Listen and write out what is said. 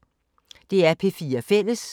DR P4 Fælles